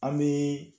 An bɛ